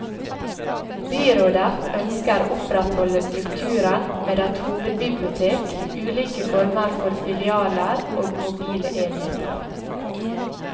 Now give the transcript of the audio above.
Byrådet ønsker å opprettholde strukturen med et hovedbibliotek, ulike former for filialer og mobile enheter.